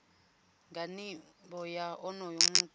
nga nivho ya onoyo muthu